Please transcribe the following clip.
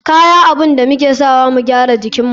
Kya abun da muke sawa mu gyara jikinmu.